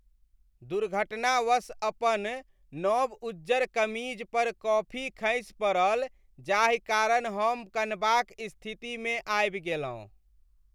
दुर्घटनावश अपन नव उज्जर कमीज पर कॉफी खसि पड़ल जाहि कारण हम कनबाक स्थितिमे आबि गेलहुँ ।